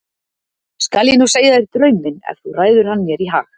Skal ég nú segja þér draum minn ef þú ræður hann mér í hag.